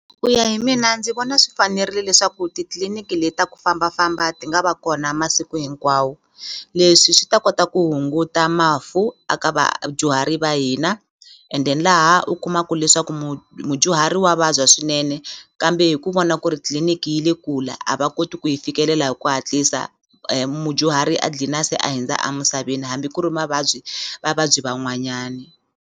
Ku ya hi mina ndzi vona swi fanerile leswaku titliliniki le ta ku fambafamba ti nga va kona masiku hinkwawo leswi swi ta kota ku hunguta mafu a ka vadyuhari va hina and then laha u kumaku leswaku ku mudyuhari wa vabya swinene kambe hi ku vona ku ri tliliniki yi le kule a va koti ku yi fikelela hi ku hatlisa mudyuhari a dlina se a hindza a misaveni hambi ku ri mavabyi vavabyi van'wanyani.